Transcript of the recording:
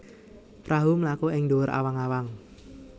Prahu mlaku ing dhuwur awang awang